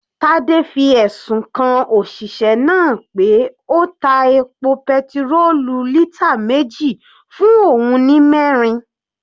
Tade fi ẹ̀sùn kan òṣìṣẹ́ náà pé ó ta epo petirólù lítà meji fún òun ní mẹrin.